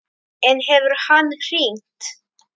En hefur hann hringt?